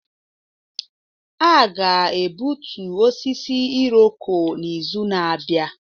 A ga-egbutu osisi Irọko n'izu na-abịa.